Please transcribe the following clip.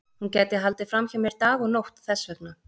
Hún gæti haldið fram hjá mér dag og nótt þess vegna.